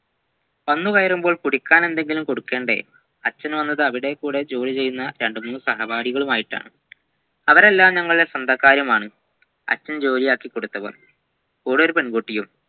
വന്ന് കയറുമ്പോൾ കുടിക്കാനയെന്തെങ്കിലും കൊടുക്കേണ്ടേ അച്ഛൻ വന്നത് അവിടെകൂടെ ജോലിചെയ്യുന്ന രണ്ടുമൂന്ന് സഹപാഠികളുമായിട്ടാണ് അവരെല്ലാവരും നമ്മുടെ സ്വന്തക്കാരുമാണ് അച്ഛൻ ജോലിയ്യാക്കികൊടുത്തവർ കൂടെ ഒരു പെൺകുട്ടിയും